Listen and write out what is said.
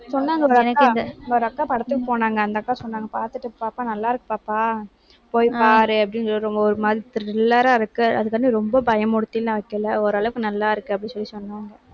சொன்னாங்க. ஒரு அக்கா ஒரு அக்கா படத்துக்கு போனாங்க. அந்த அக்கா சொன்னாங்க. பாத்துட்டு பாப்பா நல்லாருக்கு பாப்பா. போய் பாரு அப்படின்னு ஒரு மாதிரி thriller ஆ இருக்கு. அதுக்காண்டி ரொம்ப பயமுறுத்தி ஓரளவுக்கு நல்லா இருக்கு அப்படின்னு சொல்லி சொன்னாங்க